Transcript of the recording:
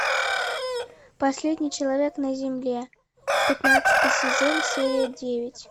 последний человек на земле пятнадцатый сезон серия девять